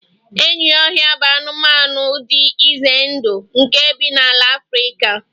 enyi ohia bụ anụmanụ dị ize ndụ nke bi na ala Afrika